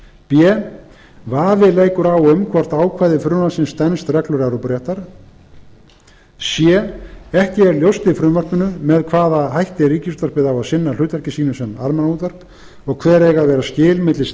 b vafi leikur á um hvort ákvæði frumvarpsins stenst reglur evrópuréttar c ekki er ljóst í frumvarpinu með hvaða hætti ríkisútvarpið á að sinna hlutverki sínu sem almannaútvarp og hver eiga að vera skil milli